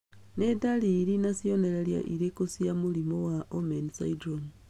Nĩ ndariri na cionereria irĩkũ cia mũrimũ wa Omenn syndrome?